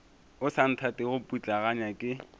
o sa nthatego putlaganya ke